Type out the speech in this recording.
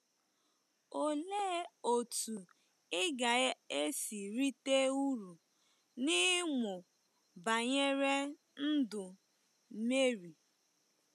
Olee otú ị ga-esi rite uru n’ịmụ banyere ndụ Meri?